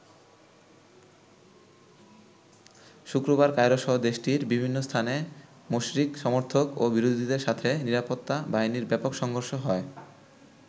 শুক্রবার কায়রোসহ দেশটির বিভিন্ন স্থানে মোরসির সমর্থক ও বিরোধীদের সাথে নিরাপত্তা বাহিনীর ব্যাপক সংঘর্ষ হয়।